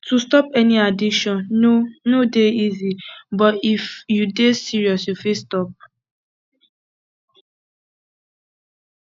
to stop any addiction no no dey easy but if you dey serious you fit stop